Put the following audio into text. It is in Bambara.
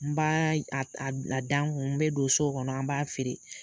N b'aa y ad ad a da n kun, n bɛ don so kɔnɔ an b'a feere.